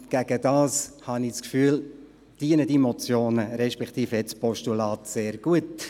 Dagegen, habe ich das Gefühl, dienen die Motionen, respektive das Postulat, sehr gut;